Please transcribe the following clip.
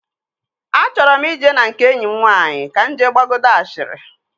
Achọrọ m ije na nke enyi m nwaanyị ka m jee gbagodi ashịrị